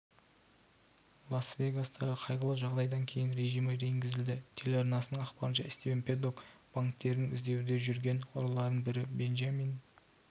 лас-вегастағы қайғылы жағдайдан кейін режимі енгізілді телеарнасының ақпарынша стивен пэддок банктерінің іздеуде жүрген ұрыларының бірі бенджамин